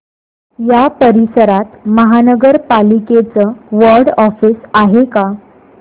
या परिसरात महानगर पालिकेचं वॉर्ड ऑफिस आहे का